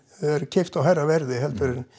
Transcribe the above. er keypt á hærra verði heldur en